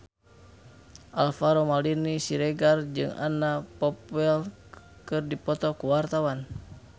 Alvaro Maldini Siregar jeung Anna Popplewell keur dipoto ku wartawan